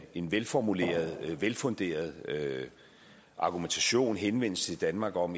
en velformuleret velfunderet argumentation henvendelse til danmark om